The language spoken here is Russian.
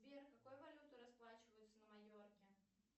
сбер какой валютой расплачиваются на майорке